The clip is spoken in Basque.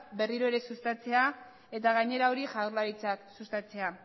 berriro ere sustatzea eta gainera hori jaurlaritzak sustatzea